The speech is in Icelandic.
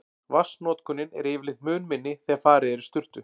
Vatnsnotkunin er yfirleitt mun minni þegar farið er í sturtu.